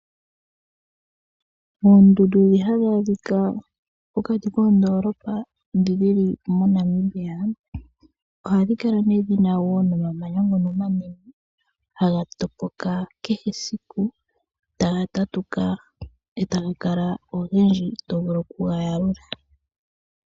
Oondundu ndhi hadhi adhika pokati koondoolopa ndhi dhili moNamibia ohadhi kala nee dhina wo nomamanya ngono omanene haga topoka kehe esiku taga tatuka etaga kala ogendji tovulu okuga yalula.